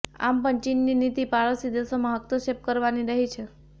આમ પણ ચીનની નીતિ પાડોશી દેશોમાં હસ્તક્ષેપ કરવાની રહી છે